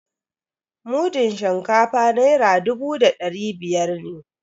Mudun shinkafa naira dubu da dari biyar.